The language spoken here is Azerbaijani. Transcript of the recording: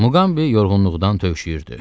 Muqambi yorğunluqdan tövşüyürdü.